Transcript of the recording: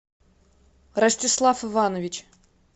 ростислав иванович